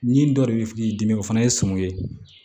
Ni dɔ de bɛ k'i dimi o fana ye sum ye